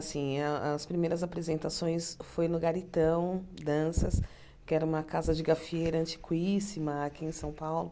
Assim a as primeiras apresentações foram no Garitão Danças, que era uma casa de gafiera antiquíssima aqui em São Paulo.